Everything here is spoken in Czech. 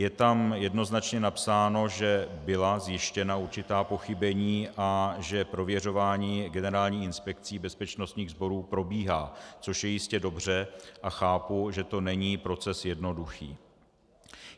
Je tam jednoznačně napsáno, že byla zjištěna určitá pochybení a že prověřování Generální inspekcí bezpečnostních sborů probíhá, což je jistě dobře, a chápu, že to není proces jednoduchý.